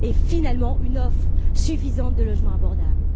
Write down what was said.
finalement, une offre suffisante de logements abordables.